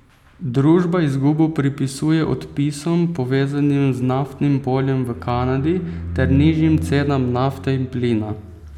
Družba izgubo pripisuje odpisom, povezanim z naftnim poljem v Kanadi, ter nižjimi cenami nafte in plina.